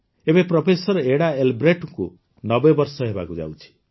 ଏବେ professor Ida ଏଲବ୍ରେକ୍ଟଙ୍କୁ ୯୦ ବର୍ଷ ହେବାକୁ ଯାଉଛି